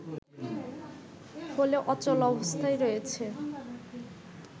ফলে অচল অবস্থায় রয়েছে